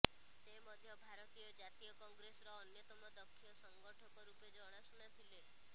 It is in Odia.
ସେ ମଧ୍ୟ ଭାରତୀୟ ଜାତୀୟ କଂଗ୍ରେସର ଅନ୍ୟତମ ଦକ୍ଷ ସଂଗଠକ ରୂପେ ଜଣାଶୁଣାଥିଲେ